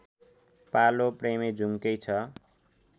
पालो प्रेमेजुङ्कै छ